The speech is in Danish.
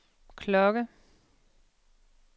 klokke